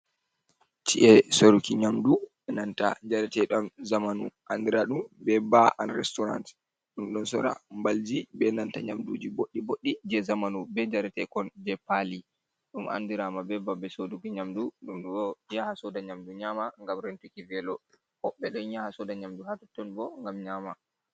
Chi’e soruki nyamdu e nanta njarateɗam zamanu andira ɗum be ba an restorant, ɗum ɗon sora mbalji be nanta nyamduji boɗɗi boɗɗi je zamanu be njaretekon je pali ɗum andirama be babe soduki nyamdu ɗum ɗo yaha soda nyamdu nyama gam rentuki velo woɓɓe don yaha soda nyamdu ha totton bo ngam nyama.